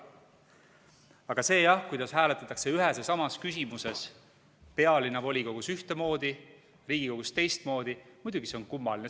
Aga see jah, kuidas hääletatakse ühes ja samas küsimuses pealinna volikogus ühtemoodi, Riigikogus teistmoodi, muidugi on see kummaline.